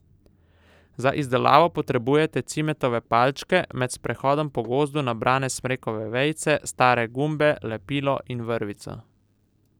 Za izdelavo potrebujete cimetove palčke, med sprehodom po gozdu nabrane smrekove vejice, stare gumbe, lepilo in vrvico.